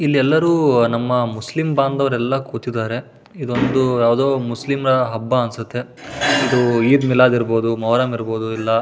ಇಲ್ ಎಲ್ಲರೂ ನಮ್ಮ ಮುಸ್ಲಿಂ ಬಾಂಧವರು ಎಲ್ಲ ಕುತಿದಾರೆ ಇದೊಂದು ಯಾವ್ದೋ ಮುಸ್ಲಿಂರ ಹಬ್ಬ ಅನ್ಸತ್ತೆ ಇದು ಈದ್ ಮಿಲಾದ್ ಇರ್ಬಹುದು ಮೊಹರಂ ಇರಬಹುದು ಇಲ್ಲ --